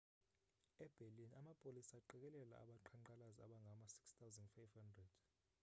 e-berlin amapolisa aqikelela abaqhankqalazi abangama-6 500